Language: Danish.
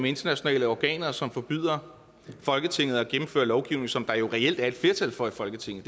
internationale organer som forbyder folketinget at gennemføre lovgivning som der jo reelt er et flertal for i folketinget